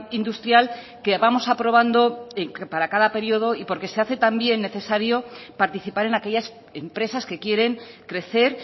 industrial que vamos aprobando para cada periodo y porque se hace necesario también participar en aquellas empresas que quieren crecer